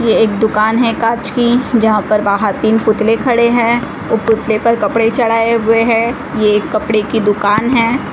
एक दुकान है कांच की जहां पर बाहर तीन पुतले खड़े हैं ओ पुतले पर कपड़े चढ़ाए हुए हैं ये एक कपड़े की दुकान है।